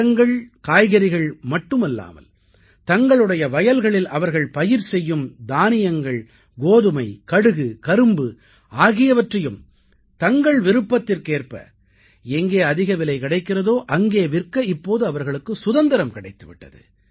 பழங்கள்காய்கறிகள் மட்டுமல்லாமல் தங்களுடைய வயல்களில் அவர்கள் பயிர் செய்யும் தானியங்கள் கோதுமை கடுகு கரும்பு ஆகியவற்றையும் தங்கள் விருப்பத்திற்கேற்ப எங்கே அதிக விலை கிடைக்கிறதோ அங்கே விற்க இப்போது அவர்களுக்கு சுதந்திரம் கிடைத்து விட்டது